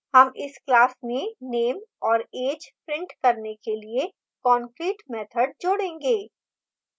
हम इस class में नेम और add print करने के लिए concrete मैथड जोडेंगे